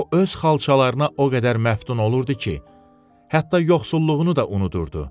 O öz xalçalarına o qədər məftun olurdu ki, hətta yoxsulluğunu da unudurdu.